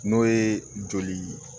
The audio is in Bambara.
N'o ye joli